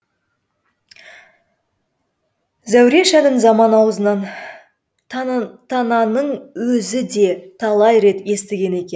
зәуреш әнін заман аузынан тананың өзі де талай рет естіген екен